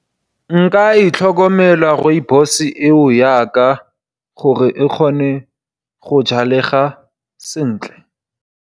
Nka e tlhokomela Rooibos eo yaka gore e kgone go jalega sentle.